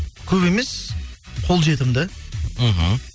көп емес қол жетімді мхм